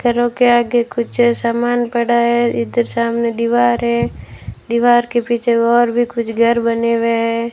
घरों के आगे कुछ सामान पड़ा है इधर सामने दीवार है दीवार के पीछे और भी कुछ घर बने हुए हैं।